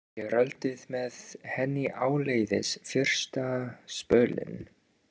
Ég rölti með henni áleiðis fyrsta spölinn.